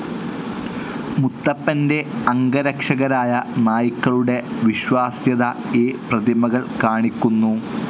മുത്തപ്പൻ്റെ അംഗരക്ഷകരായ നായ്ക്കളുടെ വിശ്വാസ്യത ഈ പ്രതിമകൾ കാണിക്കുന്നു.